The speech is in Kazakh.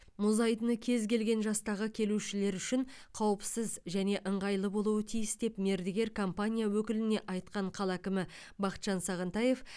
мұз айдыны кез келген жастағы келушілер үшін қауіпсіз және ыңғайлы болуы тиіс деп мердігер компания өкіліне айтқан қала әкімі бахытжан сағынтаев